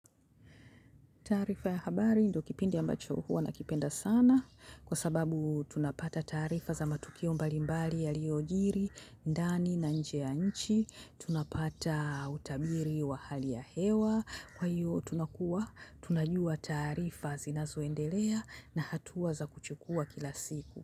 Taarifa ya habari ndio kipindi ambacho huwa nakipenda sana kwa sababu tunapata taarifa za matukio mbalimbali yaliojiri, ndani na nje ya nchi. Tunapata utabiri wa hali ya hewa. Kwa hiyo tunakuwa tunajua taarifa zinazoendelea na hatua za kuchukua kila siku.